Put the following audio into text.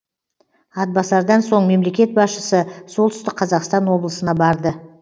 атбасардан соң мемлекет басшысы солтүстік қазақстан облысына барды